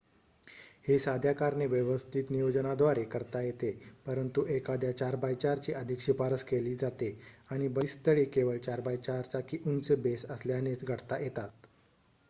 हे साध्या कारने व्यवस्थित नियोजनाद्वारे करता येते परंतु एखाद्या 4x4 ची अधिक शिफारस केली जाते आणि बरीच स्थळे केवळ 4x4 चाकी उंच बेस असलेल्यानेच गाठता येतात